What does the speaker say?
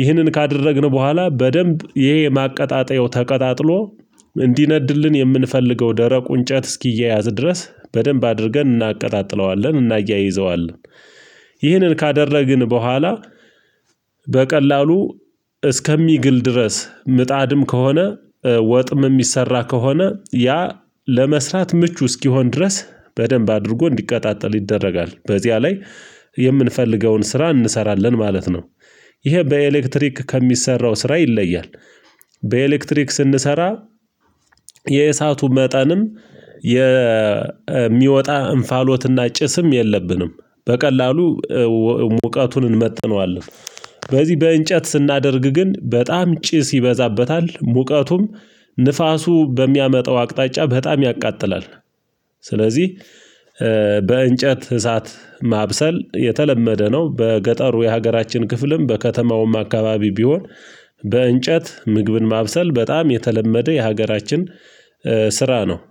ይህንን ካደረግን በኋላ በደንብ ይሄ ማቀጣጠያው ተቀጣጥሎ እንዲነድልን የምንፈልገው ደረቁ እንጨት እስኪያያዝ ድረስ በደንብ አድርገን እናቀጣጥለዋለን እናያይዘዋለን። ይህንን ካደረግን በኋላ በቀላሉ እስከሚግል ድረስ ምጣድም ከሆነ ወጥም የሚሰራ ከሆነ ያ ለመሠራት ምቹ እስኪሆን ድረስ በደንብ አድርጎ እንዲቀጣጠል ይደረጋል በዚያ ላይ የምንፈልገውን ስራ እንሰራለን ማለት ነው። ይሄ በኤሌክትሪክ ከሚሰራው ስራ ይለያል። በኤሌክትሪክ ስንሰራ የእሳቱ መጠንም የሚወጣ እንፋሎትና ጭስም የለብንም። በቀላሉ ሙቀቱን እንመጥነዋለን። በዚህ በእንጨት ስናደርግ ግን በጣም ጭስ ይበዛበታል ሙቀቱም ንፋሱ በሚያመጣው አቅጣጫ በጣም ያቃጥላል። ስለዚህ በእንጨት እሳት ማብሰል የተለመደ ነው በገጠሩ የሀገራችን ክፍልም በከተማውም አካባቢ ቢሆን። በእንጨት ምግብን ማብሰል በጣም የተለመደ የሀገራችን ስራ ነው